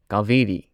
Kaveri